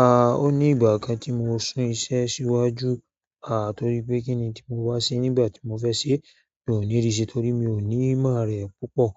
A, ó ní ìgbà kan tí mo sún iṣẹ́ síwájú, a torí pé kíni tí mo wá sí nígbà tí mo fẹ́ ṣe, mi ò ní rí se torí mi ò ní ìmọ̀ rẹ̀ púpọ̀.